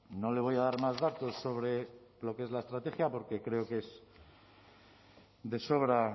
no le voy a dar más datos sobre lo que es la estrategia porque creo que es de sobra